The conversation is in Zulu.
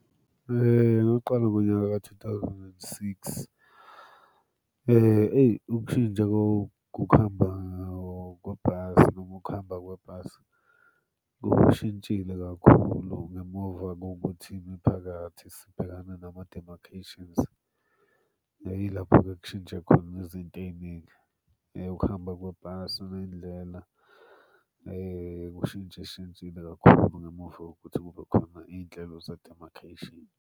Ngaqala ngonyaka ka-two thousand and six. Eyi ukushintsha kwakukuhamba kwebhasi, noma ukuhamba kwebhasi kushintshile kakhulu ngemuva kokuthini ngiphakathi sibhekana nama-dermacations. Ya yilapho-ke ekushintshe khona izinto ey'ningi ukuhamba kwebhasi nendlela kushintsha shintshile kakhulu ngemuva kokuthi kube khona iy'nhlelo ze-dermacation.